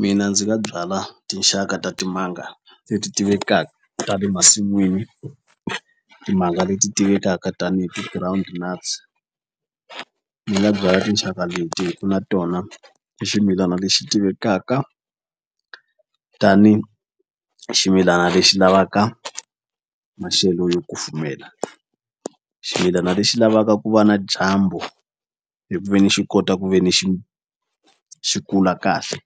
Mina ndzi nga byala tinxaka ta timanga leti tivekaka ta le masin'wini timanga leti tivekaka tanihi ti-ground nuts ni nga byala tinxaka leti hi ku na tona i ximilana lexi tivekaka tani ximilana lexi lavaka maxelo yo kufumela ximilana lexi lavaka ku va na dyambu hi ku ve ni xi kota ku ve ni xi xi kula kahle